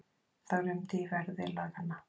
Það rumdi í verði laganna.